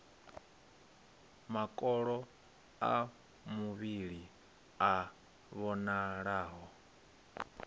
makolo a muvhili a vhonalaho